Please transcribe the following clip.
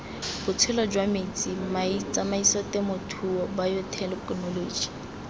botshelo jwa metsi tsamaisotemothuo bayothekenoloji